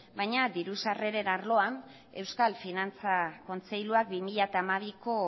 baina diru sarreren arloan euskal finantza kontseiluak bi mila hamabiko